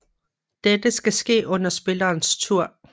Dette skal ske under spillerens tur